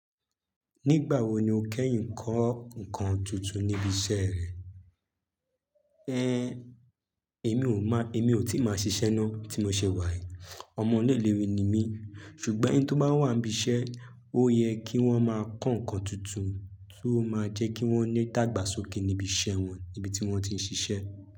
Nígbà wo ni o kẹ́yìn n kọ́ nǹkan tuntun níbi iṣẹ́ rẹ? Ẹ̀n, èmi ò má, èmi ò tíì máa ṣiṣẹ́ ná, tí mo ṣe wàyí. Ọmọ ọ̀lẹ lère ni mí, ṣùgbọ́n ẹni tó bá wà níbi iṣẹ́, ó yẹ kí wọ́n máa kọ́ nǹkan tuntun tó máa jẹ́ kí wọ́n ni idàgbàsókè níbi iṣẹ́ wọn, níbi tí wọ́n ti ń ṣiṣẹ́.